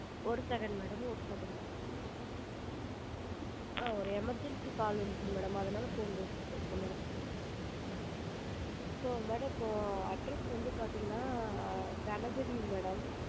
ஒரு second madam ஒரு second ஆ ஒரு emergency call madam வந்துச்சு madam அதனால phone பேசுனேன் சொல்லுங்க so madam இப்போ address வந்து பாத்திங்கனா கனபதிங்க madam